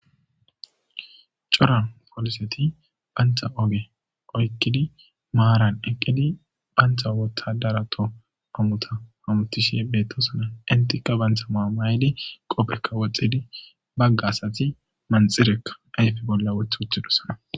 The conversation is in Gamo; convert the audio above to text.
cora foliseti bantha oge oykkidi maaran eqqidi bantha wothadarato amuta amutishi bettosona intikka bantha maamaydi qopphekka woxxidi bagga asati manxirekka ayfe bolla woth uttidosana